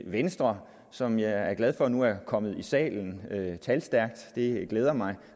venstre som jeg er glad for nu er kommet talstærkt i salen det glæder mig